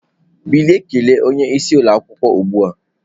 Bilie kelee onye isi ụlọ akwụkwọ ozugbo!